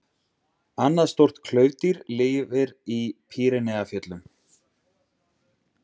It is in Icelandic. Annað stórt klaufdýr lifir í Pýreneafjöllum.